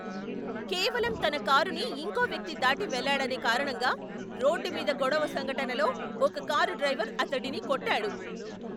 కేవలం తన కారుని ఇంకో వ్యక్తి దాటి వెళ్ళాడనే కారణంగా రోడ్డు మీద గొడవ సంఘటనలో ఒక కారు డ్రైవర్ అతడిని కొట్టాడు.